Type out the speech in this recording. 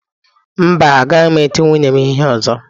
Mba, agaghị m eti nwunye m ihe ọzọ.